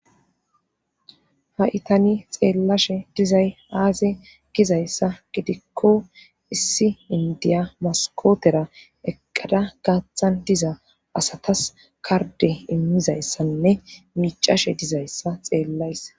Ia itani xeellashe dizay aaze gizayssa gidikko issi indiya maskootera eqqada gaaththan diza asatas karde immizayssanne micashe dizayssa xeellays.